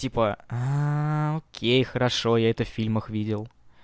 типа окей хорошо я это в фильмах видел